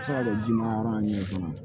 Se ka kɛ ji mara yɔrɔ min kɔnɔ